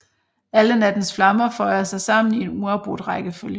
Alle nattens flammer føjer sig sammen i en uafbrudt rækkefølge